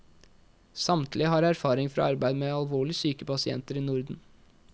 Samtlige har erfaring fra arbeid med alvorlig syke pasienter i norden.